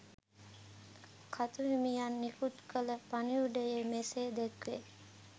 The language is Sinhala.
කතු හිමියන් නිකුත් කළ පණිවුඩයේ මෙසේ දැක්වේ.